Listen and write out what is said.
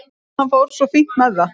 Hann fór svo fínt með það.